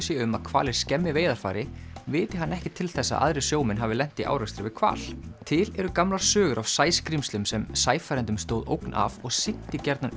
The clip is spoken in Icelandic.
sé um að hvalir skemmi veiðarfæri viti hann ekki til þess að aðrir sjómenn hafi lent í árekstri við hval til eru gamlar sögur af sæskrímslum sem sæfarendum stóð ógn af og syntu gjarnan